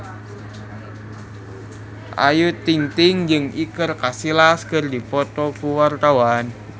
Ayu Ting-ting jeung Iker Casillas keur dipoto ku wartawan